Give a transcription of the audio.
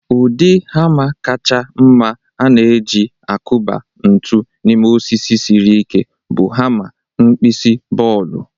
Ụdị hama kacha mma a na-e-ji akuba ntu n'ime osisi siri ike bụ hama nkpisi bọọlụ.